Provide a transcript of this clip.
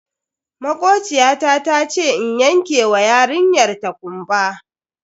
Makociyata tace in yanke wa yarinyar ta kumba.